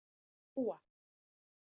Dúa